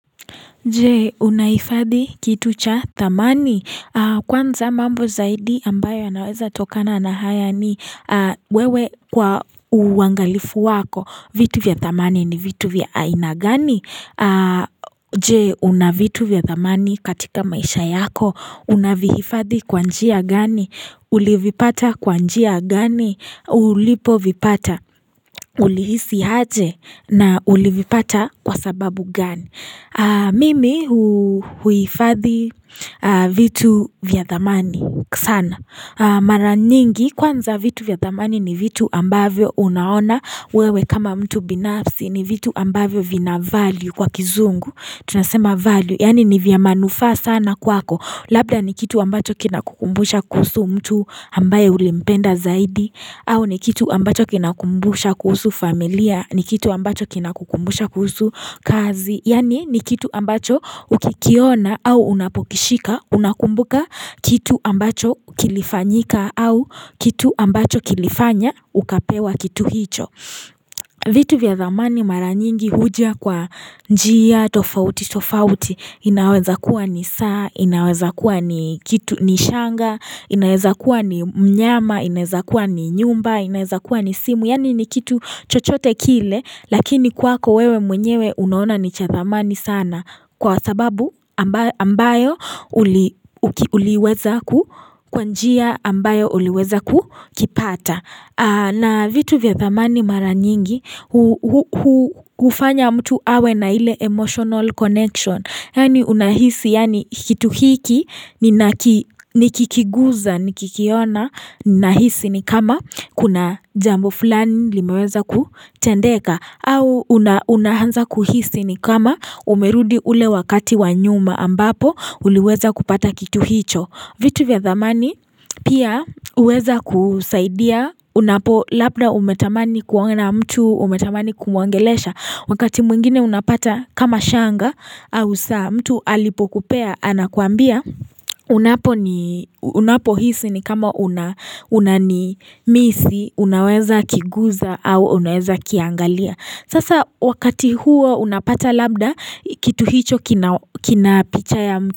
Je, unahifadhi kitu cha thamani. Kwanza mambo zaidi ambayo yanawezatokana na haya ni wewe kwa uangalifu wako. Vitu vya thamani ni vitu vya aina gani. Je, una vitu vya thamani katika maisha yako. Unavihifadhi kwa njia gani. Ulivipata kwa njia gani. Ulipovipata. Ulihisi aje na ulivipata kwa sababu gani. Mimi huifadhi vitu vya thamani sana Mara nyingi kwanza vitu vya thamani ni vitu ambavyo unaona wewe kama mtu binafsi ni vitu ambavyo vina value kwa kizungu Tunasema value yaani ni vya maanufa sana kwako Labda ni kitu ambacho kinakukumbusha kuhusu mtu ambaye ulimpenda zaidi au ni kitu ambacho kinakukumbusha kuhusu familia ni kitu ambacho kinakukumbusha kuhusu kazi Yaani ni kitu ambacho ukikiona au unapokishika unakumbuka kitu ambacho kilifanyika au kitu ambacho kilifanya ukapewa kitu hicho. Vitu vya thamani mara nyingi huja kwa njia tofauti tofauti inaweza kuwa ni saa inaweza kuwa ni kitu ni shanga inaweza kuwa ni mnyama inaweza kuwa ni nyumba inaweza kuwa ni simu. Yaani ni kitu chochote kile lakini kwako wewe mwenyewe unaona ni cha thamani sana kwa sababu ambayo uliweza kwa njia ambayo uliweza kukipata. Na vitu vya thamani mara nyingi hufanya mtu awe na ile emotional connection Yaani unahisi yaani kitu hiki nikikiguza nikikiona Ninahisi ni kama kuna jambo fulani limeweza kutendeka au unaanza kuhisi ni kama umerudi ule wakati wa nyuma ambapo uliweza kupata kitu hicho vitu vya dhamani pia huweza kusaidia unapo labda umetamani kuona mtu umetamani kumwongelesha wakati mwingine unapata kama shanga au saa mtu alipokupea anakuambia unaponi unapohisi ni kama unani misi unaweza kiguza au unaweza kiangalia sasa wakati huo unapata labda kitu hicho kina picha ya mtu.